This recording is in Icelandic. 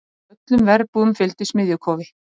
Öllum verbúðum fylgdi smiðjukofi.